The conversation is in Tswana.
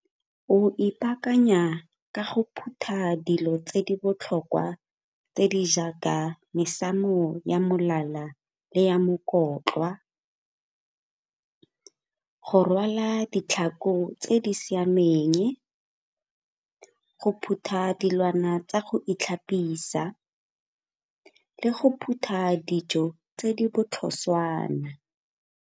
O ipaakanya ka go phutha dilo tse di botlhokwa tse di jaaka mesamo ya molala le ya , go rwala ditlhako tse di siameng, go phutha dilwana tsa go itlhapisa le go phutha dijo tse di botlhoswana.